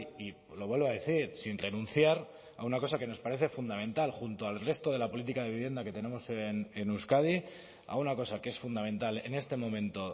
y lo vuelvo a decir sin renunciar a una cosa que nos parece fundamental junto al resto de la política de vivienda que tenemos en euskadi a una cosa que es fundamental en este momento